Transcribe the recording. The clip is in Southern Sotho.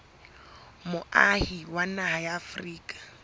moahi wa naha ya afrika